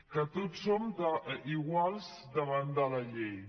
que tots som iguals davant de la llei